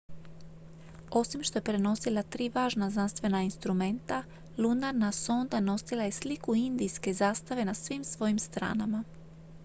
osim što je prenosila tri važna znanstvena instrumenta lunarna sonda nosila je i sliku indijske zastave na svim svojim stranama